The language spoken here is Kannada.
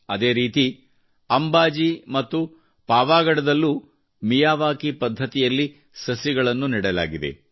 ಅದೇ ರೀತಿ ಅಂಬಾಜಿ ಮತ್ತು ಪಾವಗಡದಲ್ಲೂ ಮಿಯಾವಾಕಿ ಪದ್ಧತಿಯಲ್ಲಿ ಸಸಿಗಳನ್ನು ನೆಡಲಾಗಿದೆ